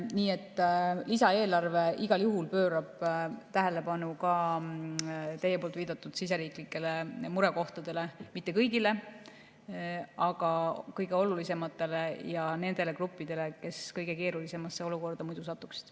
Nii et lisaeelarve igal juhul pöörab tähelepanu ka teie viidatud siseriiklikele murekohtadele, mitte kõigile, aga kõige olulisematele, ja nendele gruppidele, kes muidu kõige keerulisemasse olukorda satuksid.